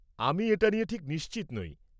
আমি এটা নিয়ে ঠিক নিশ্চিত নই।